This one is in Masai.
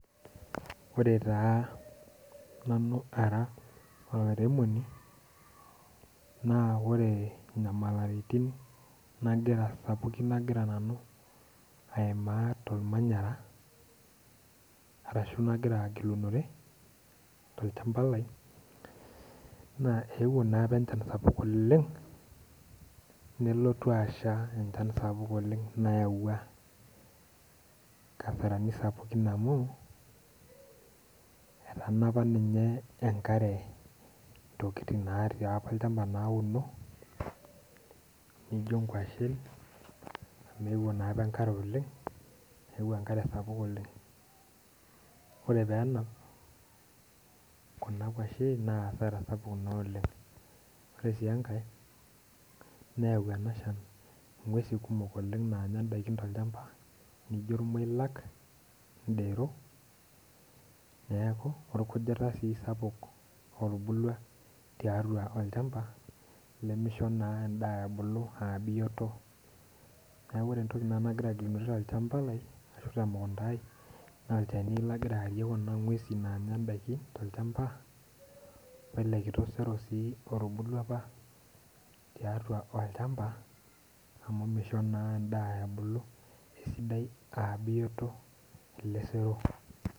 Ore taa nanu ara olairemoni naa ore nyamalitin sapukin nagira aimaa tormanyara ashu nagira agilunore tolchamba lai, naa eeuo apa enchan sapuk oleng' nelotu asha enchan sapuk oleng' nayaua nkasarani sapukin amu etanapa ninye enkare ntokiting' naati apa olchampa nauno, naijo kwashen amu eeuo naapa enkare oleng' ,eeuo enkare sapuk oleng' ,ore pee enap Kuna kwashen nayau hasara sapuk oleng' ,ore sii enkae nayau ng'wesin kumok naanya ndaiki oleng' naijo irmoilak ,ndero orkujita sii sapuk otubulua tiatua olchamba limisho sii endaa ebulu aa bioto. neeku ore entoki nanu nagira agilunore tolchamba lai ashu temukunta ai naa olchani lagira aarie Kuna gwesin naanya ndaiki tolchamba wele kito sero sii otubulua apa tiatua olchamba amu misho naa endaa ebulu aa sidai aa bioto ele sero.